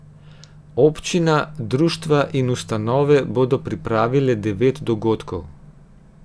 Občina, društva in ustanove bodo pripravile devet dogodkov.